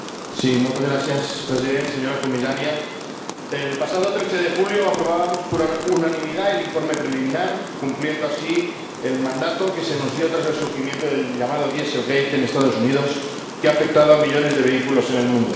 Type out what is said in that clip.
Señor Presidente, señora Comisaria, el pasado 13 de julio aprobábamos por unanimidad el informe preliminar, cumpliendo así el mandato que se nos dio tras el surgimiento del llamado Dieselgate en los Estados Unidos, que ha afectado a millones de vehículos en el mundo.